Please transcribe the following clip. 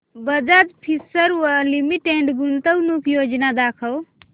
Bajaj Finserv limited गुंतवणूक योजना दाखव